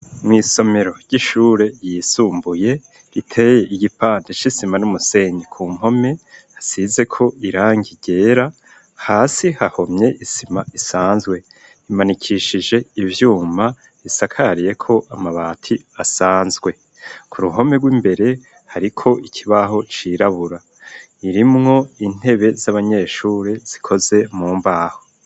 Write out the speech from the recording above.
Mw'isomero ry'ishure yisumbuye riteye igipande sh isima n'umusenyi ku mpome hasize ko irange igera hasi hahomye isima isanzwe imanikishije ivyuma risakariye ko amabati asanzwe ku ruhome rw'imbere hariko ikibaho cirabura irimwo intebe z'abanyeshuri zikoze mu mbaho.